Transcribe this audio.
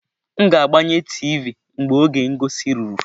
M ga-agbanye tiivi mgbe oge ngosi ruru.